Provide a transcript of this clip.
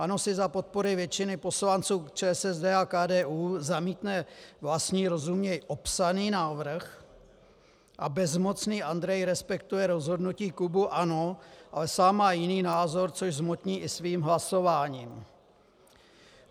ANO si za podpory většiny poslanců ČSSD a KDU zamítne vlastní, rozuměj opsaný, návrh a bezmocný Andrej respektuje rozhodnutí klubu ANO, ale sám má jiný názor, což zhmotní i svým hlasováním.